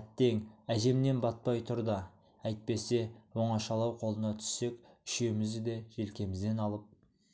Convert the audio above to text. әттең әжемнен батпай тұр да әйтпесе оңашалау қолына түссек үшеумізді де желкемізден алып